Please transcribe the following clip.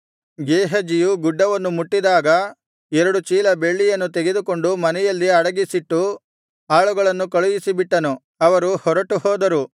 ಗೇಹಜಿಯು ಗುಡ್ಡವನ್ನು ಮುಟ್ಟಿದಾಗ ಎರಡು ಚೀಲ ಬೆಳ್ಳಿಯನ್ನು ತೆಗೆದುಕೊಂಡು ಮನೆಯಲ್ಲಿ ಅಡಗಿಸಿಟ್ಟು ಆಳುಗಳನ್ನು ಕಳುಹಿಸಿಬಿಟ್ಟನು ಅವರು ಹೊರಟು ಹೋದರು